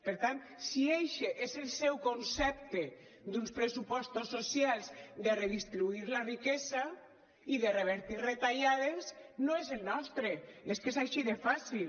per tant si eixe és el seu concepte d’uns pressupostos socials de redistribuir la riquesa i de revertir retallades no és el nostre és que és així de fàcil